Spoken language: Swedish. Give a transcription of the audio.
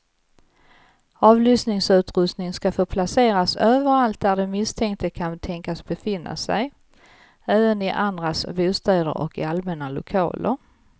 Avlyssningsutrustning ska få placeras överallt där den misstänkte kan tänkas befinna sig, även i andras bostäder och i allmänna lokaler.